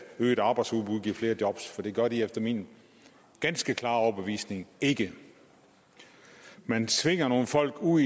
øget arbejdsudbud giver flere job for det gør det efter min ganske klare overbevisning ikke man tvinger nogle folk ud